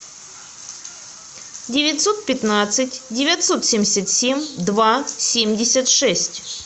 девятьсот пятнадцать девятьсот семьдесят семь два семьдесят шесть